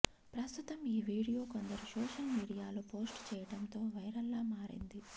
ప్రస్తుతం ఈ వీడియో కొందరు సోషల్ మీడియాలో పోస్టు చేయడంతో వైరల్గా మారింది